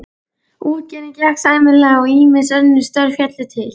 Útgerðin gekk sæmilega og ýmis önnur störf féllu til.